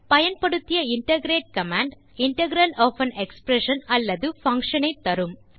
பயன்படுத்திய integrate command integral of an expression அல்லது function ஐ தரும்